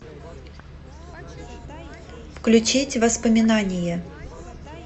включить воспоминание